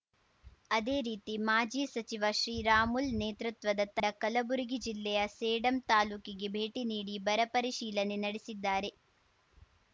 ಅದೇ ರೀತಿ ಮಾಜಿ ಸಚಿವ ಶ್ರೀರಾಮುಲ್ ನೇತೃತ್ವದ ಕಲಬುರಗಿ ಜಿಲ್ಲೆಯ ಸೇಡಂ ತಾಲೂಕಿಗೆ ಭೇಟಿ ನೀಡಿ ಬರಪರಿಶೀಲನೆ ನಡೆಸಿದ್ದಾರೆ